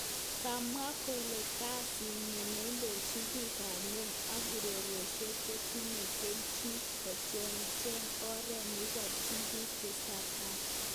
kimwa kole kasit nyi neindojin bik ab kwen ak urerosiek ko tinye keljin kocheng icheket oret nekeborji bik teset ab tai.